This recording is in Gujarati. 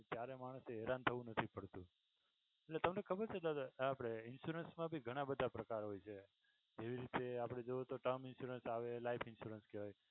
ત્યારે માણસ એ હેરાન થવું નથી પડતું તમને ખબર છે? દાદા આપણે insurance મા ભી ઘણા બધા પ્રકાર હોય છે. એવી રીતે આપણે જોઈએ તો term insurance આવે life insurance કેહવાય